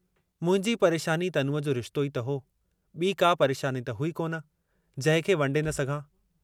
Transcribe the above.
मुंहिंजी परेशानी तनूअ जो रिश्तो ई त हो, ॿी का परेशानी त हुई कोन, जंहिंखे वंडे न सघां।